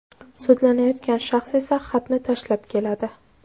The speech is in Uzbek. Sudlanayotgan shaxs esa xatni tashlab keladi.